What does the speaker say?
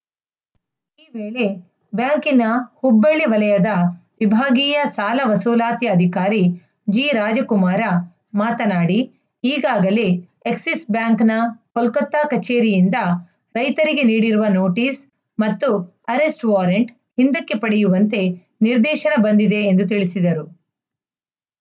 ವೇಳೆ ಬ್ಯಾಂಕಿನ ಹುಬ್ಬಳ್ಳಿ ವಲಯದ ವಿಭಾಗೀಯ ಸಾಲ ವಸೂಲಾತಿ ಅಧಿಕಾರಿ ಜಿರಾಜಕುಮಾರ ಮಾತನಾಡಿ ಈಗಾಗಲೇ ಎಕ್ಸಿಸ್‌ ಬ್ಯಾಂಕ್‌ನ ಕೊಲ್ಕತ್ತಾ ಕಚೇರಿಯಿಂದ ರೈತರಿಗೆ ನೀಡಿರುವ ನೋಟಿಸ್‌ ಮತ್ತು ಅರೆಸ್ಟ್‌ ವಾರಂಟ್‌ ಹಿಂದಕ್ಕೆ ಪಡೆಯುವಂತೆ ನಿರ್ದೇಶನ ಬಂದಿದೆ ಎಂದು ತಿಳಿಸಿದರು